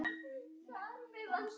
Elsku Þóra mín.